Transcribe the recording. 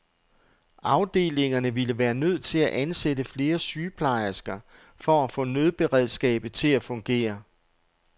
Afdelingerne ville være nødt til at ansætte flere sygeplejersker for at få nødberedskabet til at fungere.